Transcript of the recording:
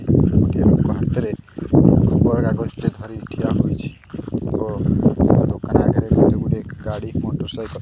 ଗୋଟିଏ ଲୋକ ହାତରେ ଖବର କାଗଜ ଟେ ଧରି ଠିଆ ହୋଇଛି ଓ ଦୋକାନ ଆଗରେ କେତେଗୁଡିଏ ଗାଡି ମଟରସାଇକଲ --